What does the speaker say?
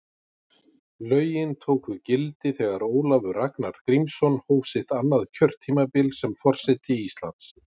Lögin tóku gildi þegar Ólafur Ragnar Grímsson hóf sitt annað kjörtímabil sem forseti Íslands.